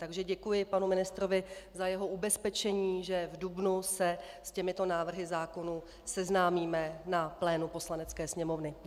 Takže děkuji panu ministrovi za jeho ubezpečení, že v dubnu se s těmito návrhy zákonů seznámíme na plénu Poslanecké sněmovny.